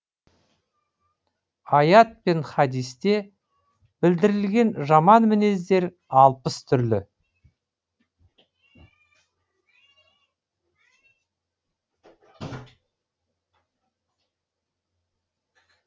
аят пен хадисте білдірілген жаман мінездер алпыс түрлі